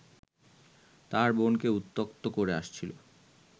তার বোনকে উত্ত্যক্ত করে আসছিল